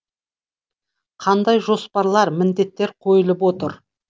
қандай жоспарлар міндеттер қойылып отыр